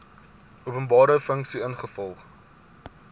openbare funksie ingevolge